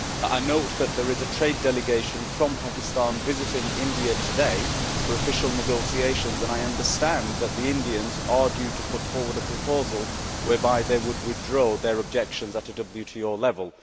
I note that there is a trade delegation from Pakistan visiting India today for official negotiations and I understand that the Indians are due to put forward a proposal whereby they would withdraw their objections at WTO level.